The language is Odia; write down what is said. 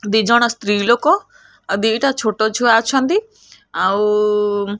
ଦିଜଣ ସ୍ତ୍ରୀ ଲୋକ ଆଉ ଦିଟା ଛୋଟ ଛୁଆ ଅଛନ୍ତି ଆଉ --